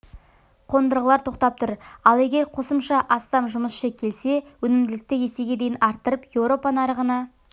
қондырғылар тоқтап тұр ал егер қосымша астам жұмысшы келсе өнімділікті есеге дейін арттырып еуропа нарығына